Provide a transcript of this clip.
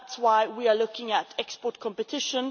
And that is why we are looking at export competition.